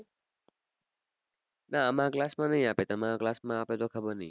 ના આમારા class માં ની આપે તમારા class માં આપે તો ખબર ની